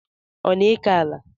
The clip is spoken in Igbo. Ọ na-eke ala?